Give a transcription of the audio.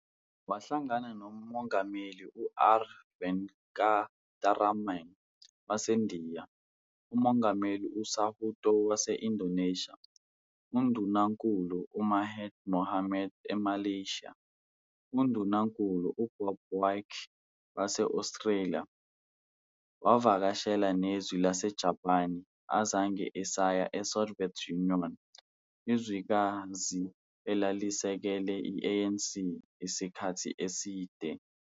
Wahlangana noMongameli u-R. Venkataraman waseNdiya, uMongameli u-Suharto wase-Indonesia, UNdunankulu u-Mahathir Mohamad eMalaysia, uNdunankulu uBob Hawke wase-Australia, wavakashela nezwe lasse-Japan, akazange esaya e-Soviet Union, izwekazi elalisekele i-ANC isikhathi eside.